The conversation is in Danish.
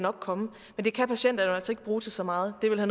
komme men det kan patienterne jo altså ikke bruge til så meget det ville